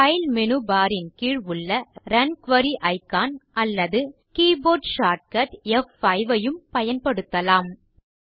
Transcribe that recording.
file menu bar ன் கீழ் உள்ள ரன் குரி இக்கான் அல்லது கீபோர்ட் ஷார்ட்கட் ப்5 ஐயும் பயன்படுத்தலாம்